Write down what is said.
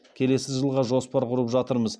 келесі жылға жоспар құрып жатырмыз